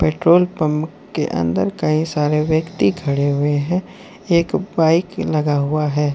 Petrol pump के अंदर कई सारे व्यक्ति खड़े हुए हैं एक बाइक लगा हुआ है।